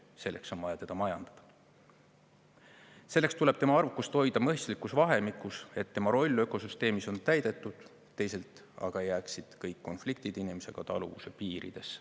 Selleks on vaja teda majandada, selleks tuleb tema arvukust hoida mõistlikus vahemikus, et tema roll ökosüsteemis oleks täidetud, teisalt aga jääksid kõik konfliktid inimesega taluvuse piiridesse.